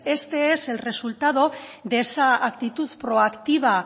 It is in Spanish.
este es el resultado de esa actitud proactiva